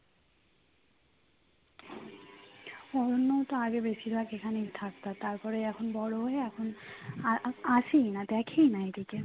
অরণ্যও তো আগে বেশিরভাগ এখানেই থাকতো তারপরে এখন বড় হয়ে এখন আর আসেই না দেখেই না এই দিকে